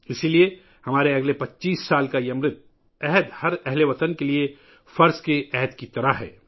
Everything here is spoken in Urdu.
اس لئے ہمارے اگلے 25 سالوں کا یہ امرت کال ہر اہل وطن کے لئے فرائض کی انجام دہی کے عہد کی طرح ہے